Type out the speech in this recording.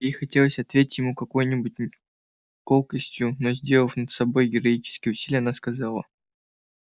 ей хотелось ответить ему какой-нибудь колкостью но сделав над собой героические усилия она сказала